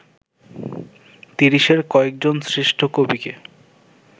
তিরিশের কয়েকজন শ্রেষ্ঠ কবিকে